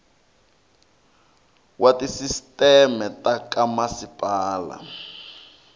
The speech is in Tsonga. wa tisisteme ta ka masipala